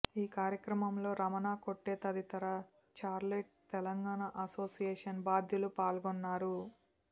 ఈ కార్యక్రమంలో రమణ కొట్టే తదితర చార్లెట్ తెలంగాణ అసోసియేషన్ బాధ్యులు పాల్గొన్నారు